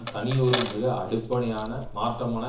தனியொரு மிக அடிப்படையான மாற்றமான